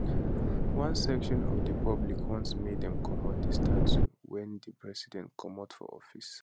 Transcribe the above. one section of di public want make dem comot di statue wen di president comot for office